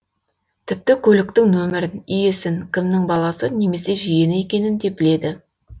тіпті көліктің нөмірін иесін кімнің баласы немесе жиені екенін де біледі